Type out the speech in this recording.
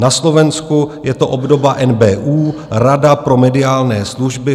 Na Slovensku je to obdoba NBÚ - Rada pre mediálne služby.